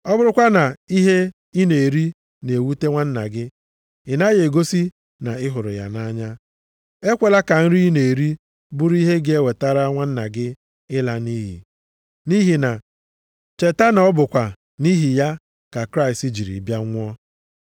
Ọ bụrụkwa na ihe ị na-eri na-ewute nwanna gị, ị naghị egosi na ị hụrụ ya nʼanya. Ekwela ka nri ị na-eri bụrụ ihe ga-ewetara nwanna gị ịla nʼiyi, nʼihi na cheta na ọ bụkwa nʼihi ya ka Kraịst jiri bịa nwụọ.